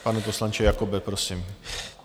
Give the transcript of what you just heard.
Pane poslanče Jakobe, prosím.